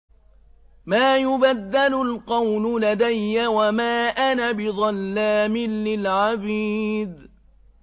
مَا يُبَدَّلُ الْقَوْلُ لَدَيَّ وَمَا أَنَا بِظَلَّامٍ لِّلْعَبِيدِ